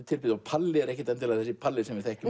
tilbrigði og Palli er ekki endilega Palli sem við þekkjum